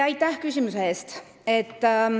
Aitäh küsimuse eest!